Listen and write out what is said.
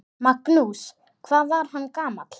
Magnús: Hvað var hann gamall?